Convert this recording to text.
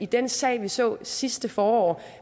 den sag vi så sidste forår